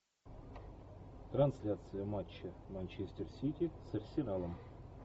трансляция матча манчестер сити с арсеналом